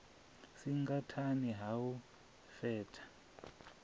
singa nṱhani ha u fhaṱha